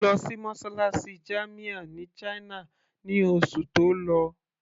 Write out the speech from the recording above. Ó lọ sí mosálásí jamia ní china ní oṣù tó lọ